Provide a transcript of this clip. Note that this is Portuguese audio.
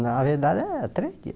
Na verdade é três dias.